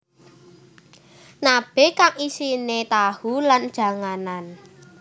Nabe kang isine tahu lan janganan